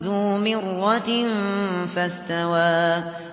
ذُو مِرَّةٍ فَاسْتَوَىٰ